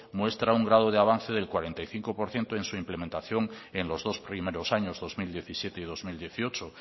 muestra un grado de avance del cuarenta y cinco por ciento en su implementación en los dos primeros años dos mil diecisiete y dos mil dieciocho